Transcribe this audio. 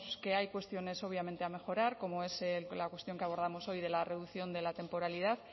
que hay cuestiones obviamente a mejorar como es la cuestión que abordamos hoy de la reducción de la temporalidad